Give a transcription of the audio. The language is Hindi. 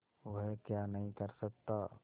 वह क्या नहीं कर सकता